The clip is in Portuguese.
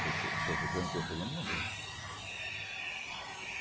Seu se, seu ciclano seu fulano mandou.